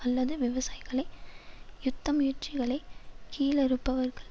அல்லது விவசாயிகளை யுத்த முயற்சிகளை கீழறுப்பவர்கள்